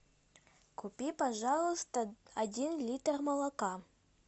купи пожалуйста один литр молока